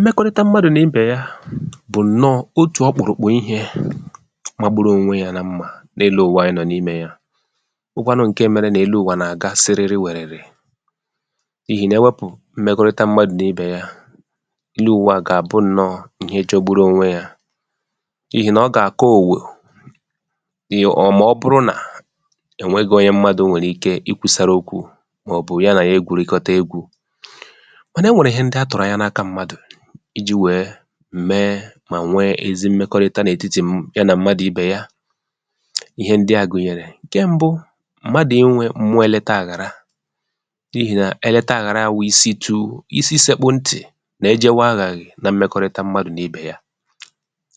mmẹkọrịta mmadù nà ibè ya, bụ̀ ǹnọ otù ọkpụ̀rụ̀kpụ̀ ihē magburu onwe ya na mmā, n’elụ ụ̀wa anyị nọ̀ n’imē ya, bụkwanụ ǹke mẹrẹ nà elu ụ̀wà nà àga serere wẹ̀rẹ̀rẹ̀, n’ihi nà ẹwẹpụ̀ mmẹkọrịta mmadù nà ibè ya, elụ ụ̀wà à gà àbụ ihe jọgburu onwe ya, n’ihì nà ọ gà àka òwè, ọ̀ mà ọ bụrụ nà ẹ nwẹghị̄ onye mmadù nwèrè ike ị kwūsara okwū, mà ọ̀ bụ ya nà ya egwùrịkọta egwū. mànà ẹ nwẹ̀rẹ̀ ịhẹ ndị a tụ̀rụ̀ anya n’aka mmadù, ijī wẹ̀ẹ mẹ mà nwe, ezi mmẹkọrịta n’ètịtị̀ ya nà mmadù ibè ya. ịhẹ ndị à gùnyẹrẹ. ǹkẹ mbụ, mmadù ịnwẹ m̀mụọ ẹlẹta àghàra, n’ihì nà ẹlẹta àghàra wụ isitu isi sẹkpụ ntì nà e jẹwẹ aghàghị̀ na mmẹkọrịta mmadù nà ibè ya,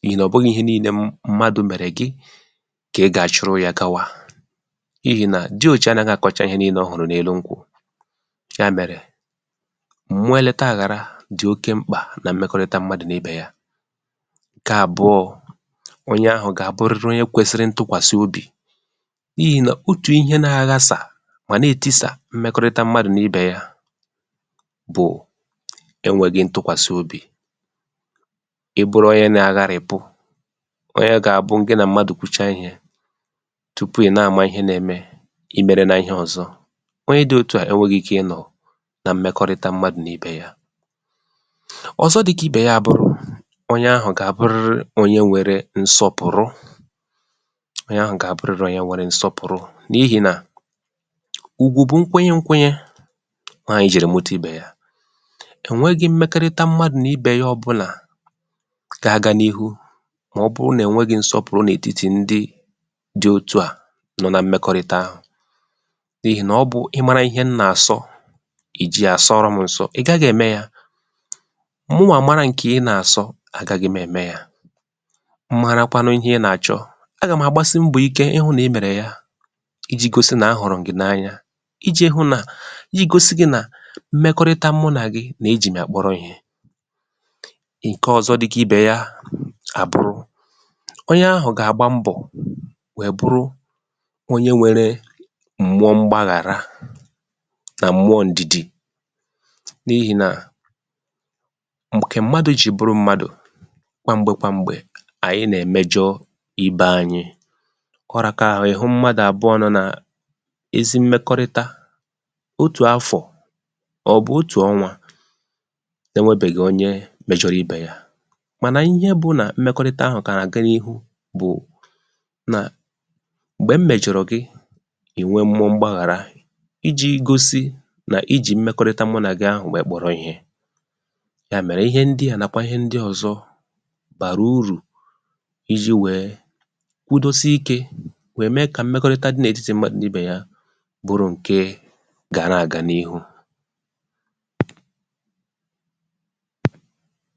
n’ihì nà ọ̀ bụrọ̄ ihe nille mmadù mẹ̀rẹ̀ gị kà ị gà àchụrụ ya gawa, n’ihì nà George anaghị àkọcha ihe nille ọ hụ̀rụ̀ n’elu nkwụ̄, yà mẹ̀rẹ̀, m̀mụọ ẹlẹta àghàra dị̀ oke mkpà na mmẹkọrịta mmadù nà ibè ya. ǹkẹ àbụọ̄, onye ahụ̀ gà àbụrịrị onye kwẹsịrị ntụkwàsị obì, n’ihì nà, otù ihe na aghasà, mà nà ètịsà mmẹkọrịta mmadù nà ibè ya bụ̀ ẹnwẹghị ntụkwàsị obì. ị bụrụ onye na aghàrị̀pụ, onye ga abụ, gị nà mmadù kwucha ihē, tupù ị na àma ihe na ẹmẹ, ịmẹrẹna ịhẹ ọzọ. Ọnye dị òtu à ẹnwẹghị ike ị nọ̀ na mmẹkọrịta mmadù n’ibè ya. ọzọ dị kà ibe ya a bụrụ, onye ahụ̀ gà àbụ onye nwẹrẹ nsọpụ̀rụ, onye ahụ̀ gà àbụrịrị onye nwẹrẹ nsọpụ̀rụ, n’ihì nà ùgwù bụ nkwụnyẹ nkwụnyẹ, ọ ya kà e jìrì mụta ibè ya. è nweghị mmẹkọrịta mmadù n’ibè ya ọbụlà ga aga n’ihu, mà ọ bụ nà ẹ̀nwẹghị nsọpụ̀rụ n’ètịtị̀ ndị dị otu à, nọ na mmẹkọrịta, n’ihì nà ọ bụ̄ ị mara ịhẹ m nà àsọ, ì ji ya sọrọ m ǹsọ, ị̀ gaghị̄ ẹ̀mẹ ya. mụwà mara ǹkẹ̀ m nà àsọ, a gaghị m ẹ̀mẹ ya. m marakwanụ ịhẹ ị nà àchọ, a gà ma àgbasị mbọ̀ ike ị hụ̄ nà ẹ mẹ̀rẹ̀ ya, ijī gosi nà a hụ̀rụ̀ m gị̀ n’anya. ijē hụ nà, I gosi gị nà mmẹkọrịta mụ nà gị, nà e jì m yà kpọrọ ihē. ǹkẹ ọzọ dị kà ibè ya à bụrụ, onyẹ ahụ̀ gà àgba mbọ̀ wẹ bụrụ onye nwẹrẹ m̀mụọ mgbaghàrà, nà mmụọ ǹdị̀dị, n’ihì nà, ǹkẹ̀ mmadū jì bụrụ mmadù, kwà m̀gbè kwà m̀gbè, ànyị nà ẹ̀mẹjọ ibē anyị. ọ raka ahụ, ị̀ hụ mmadù àbụọ̄ nọ nà ezi mmẹkọrịta, otù afọ̀, mà ọ̀ bụ otù ọnwā, ẹ nwẹbẹ̀ghị̀ onye mẹjọrọ ibè ya. mànà ịhẹ bụ nà mmẹkọrịta ahụ̀ nà àga n’ihu bụ̀ nà, m̀gbẹ̀ m mẹ̀jọ̀rọ̀ gị, ị̀ nwẹ mmụọ mgbàghàra, ijī gosi nà I jì mmẹkọrịta mụ nà gị ahụ̀ wẹ kpọrọ ihē. yà mèrè, ihe ndị à nàkwà ihe ndị ọzọ bàrà urù I jī wẹ̀ẹ kwudosie ikē, wẹ̀ mẹ kà mmẹkọrịta dị n’ètịtị̀ mmadù n’ibè ya bụrụ ǹke gara àga n’ihu.